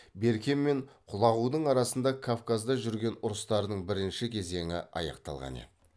берке мен құлағудың арасында кавказда жүрген ұрыстардың бірінші кезеңі аяқталған еді